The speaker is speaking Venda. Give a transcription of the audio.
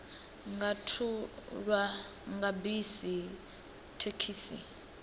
nga thulwa nga bisi thekhisi